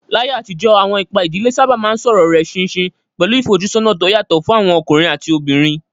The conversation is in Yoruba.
Láyé àtijọ́, àwọn ipa ìdílé sábà máa ń sọ̀rọ̀ rẹ̀ ṣinṣin, pẹ̀lú ìfojúsọ́nà tó yàtọ̀ fún àwọn ọkùnrin àti obìnrin.